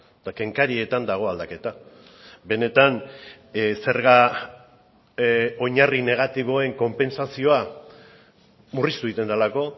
eta kenkarietan dago aldaketa benetan zerga oinarri negatiboen konpentsazioa murriztu egiten delako